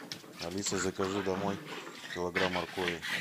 алиса закажи домой килограмм моркови